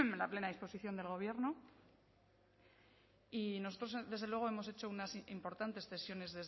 la plena disposición del gobierno y nosotros desde luego hemos hecho unas importantes cesiones